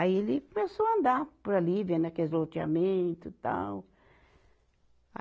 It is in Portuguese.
Aí ele começou a andar por ali, vendo aqueles loteamento tal.